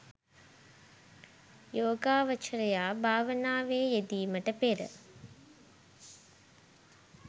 යෝගාවචරයා භාවනාවේ යෙදීමට පෙර